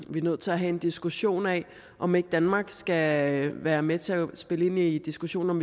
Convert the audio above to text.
er nødt til at have en diskussion af om ikke danmark skal være med til at spille ind i diskussionen om